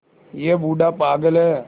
यह बूढ़ा पागल है